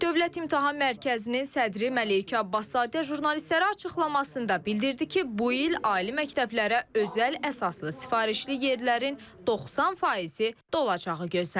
Dövlət İmtahan Mərkəzinin sədri Məleykə Abbaszadə jurnalistlərə açıqlamasında bildirdi ki, bu il ali məktəblərə özəl əsaslı sifarişli yerlərin 90%-i dolacağı gözlənilir.